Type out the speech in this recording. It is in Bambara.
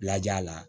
Laja la